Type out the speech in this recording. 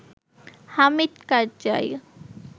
Hamid Karzai